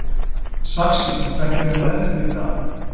Saxi, hvernig er veðrið í dag?